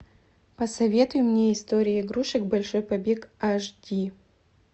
посоветуй мне история игрушек большой побег аш ди